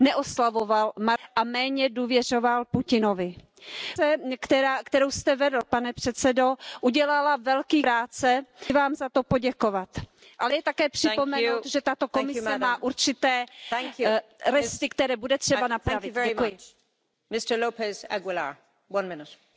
Nem szabad elutasítani az érintett felek javaslatait anélkül, hogy figyelmesen meghallgatnánk érvelésüket. A napokban tanúi lehettünk annak, hogy az egységes támogatás hiánya miatt a felek újból megrekedtek az egyezséghez vezető úton. A balkáni rendeződés nem lehet néhány tétova uniós tagállam túsza, hiszen az veszélyeztetheti az egész régió és egész Európa biztonságát is.